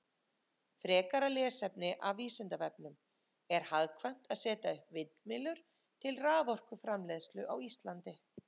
Frekara lesefni af Vísindavefnum: Er hagkvæmt að setja upp vindmyllur til raforkuframleiðslu á Íslandi?